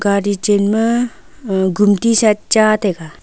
gadi chenma uh gumti sa cha taiga.